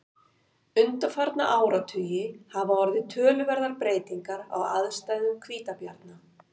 undanfarna áratugi hafa orðið töluverðar breytingar á aðstæðum hvítabjarna